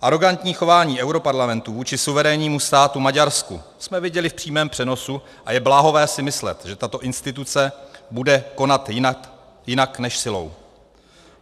Arogantní chování europarlamentu vůči suverénnímu státu Maďarsku jsme viděli v přímém přenosu a je bláhové si myslet, že tato instituce bude konat jinak než silou.